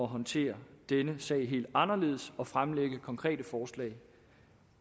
håndtere denne sag helt anderledes og fremlægge konkrete forslag